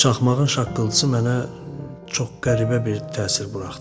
Çaxmağın şaqqıltısı mənə çox qəribə bir təsir buraxdı.